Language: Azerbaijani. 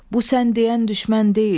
Bu sən deyən düşmən deyil.